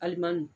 Alimandu